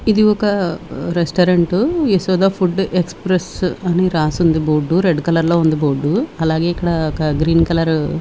ఇది ఒక restaurant Yashoda food express అని రాసుంది బోర్డు రెడ్ కలర్ లో ఉంది బోర్డు . అలాగే ఇక్కడ ఒక గ్రీన్ కలరు --